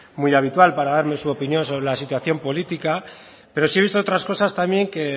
muy habitual para darme su opinión sobre la situación política pero sí he visto otras cosas también que